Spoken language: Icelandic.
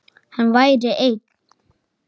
Hann væri einn.